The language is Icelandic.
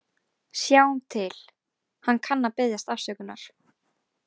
Sjáum til, hann kann að biðjast afsökunar.